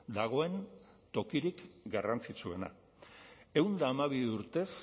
dagoen tokirik garrantzitsuena ehun eta hamabi urtez